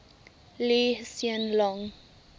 lee hsien loong